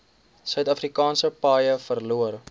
suidafrikaanse paaie verloor